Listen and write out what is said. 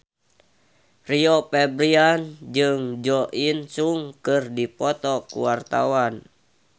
Rio Febrian jeung Jo In Sung keur dipoto ku wartawan